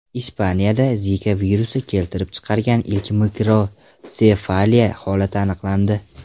Ispaniyada Zika virusi keltirib chiqargan ilk mikrotsefaliya holati aniqlandi.